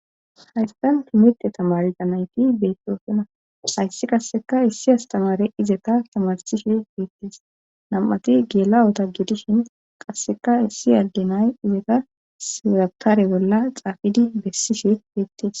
haysan tan timite tamaridanayti beettosona hayssi qasseka issi astamare izeeta tamarsishe beettes nam7ati geelawota gidishin qasseka issi agginay izeta siratare bolla xaafidi bessishe beettes